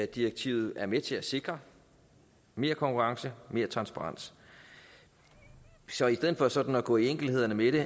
direktivet er med til at sikre mere konkurrence og mere transparens så i stedet for sådan at gå i enkeltheder med det